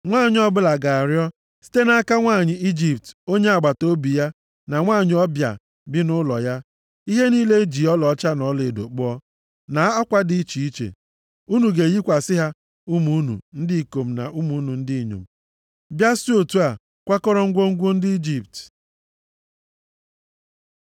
Nwanyị ọbụla ga-arịọ site nʼaka nwanyị Ijipt onye agbataobi ya na nwanyị ọbịa bi nʼụlọ ya, ihe niile e ji ọlaọcha na ọlaedo kpụọ, na akwa dị iche iche. Unu ga-eyikwasị ha ụmụ unu ndị ikom na ụmụ unu ndị inyom, bịa si otu a kwakọrọ ngwongwo ndị Ijipt.”